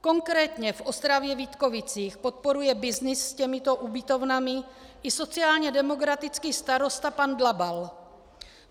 Konkrétně v Ostravě-Vítkovicích podporuje byznys s těmito ubytovnami i sociálně demokratický starosta pan Dlabal.